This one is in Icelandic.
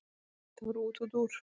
Þetta var útúrdúr.